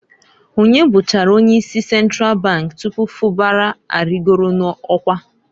Onye bụchara onye isi Sentral bank tupu Fubara arịgolu n'ọkwa?